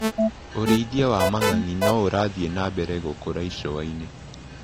ũrĩithia wa mangangi noũrathi na mbere gũkũra icũainĩ.